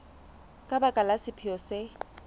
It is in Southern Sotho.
ka baka la sephetho se